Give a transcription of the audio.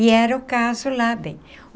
E era o caso lá bem.